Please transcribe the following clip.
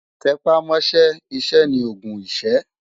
Tè pá mò ṣè iṣè ni ógùn iṣë